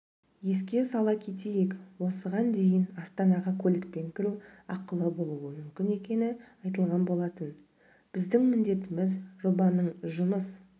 еске сала кетейік осыған дейінастанаға көлікпен кіру ақылыболуы мүмкін екені айтылған болатын біздің міндетіміз жобаның жұмыс